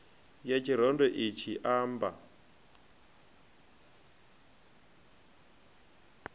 ya tshirendo itshi i amba